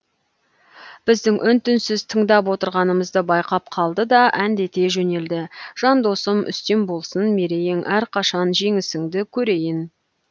біздің үн түнсіз тыңдап отырғанымызды байқап қалды да әндете жөнелді жан досым үстем болсын мерейің әрқашан жеңісіңді көрейін